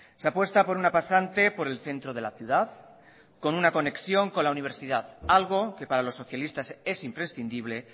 se apuesta por una pasante por el centro de la ciudad con una conexión con la universidad algo que para los socialistas es imprescindible